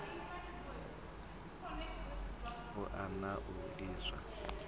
u oea na u livhiswa